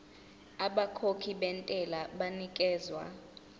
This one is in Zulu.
abakhokhi bentela banikezwa